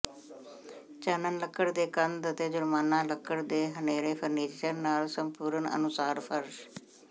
ਚਾਨਣ ਲੱਕੜ ਦੇ ਕੰਧ ਅਤੇ ਜੁਰਮਾਨਾ ਲੱਕੜ ਦੇ ਹਨੇਰੇ ਫਰਨੀਚਰ ਨਾਲ ਸੰਪੂਰਣ ਅਨੁਸਾਰ ਫ਼ਰਸ਼